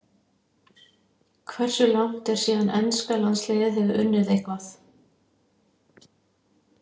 Hversu langt er síðan enska landsliðið hefur unnið eitthvað?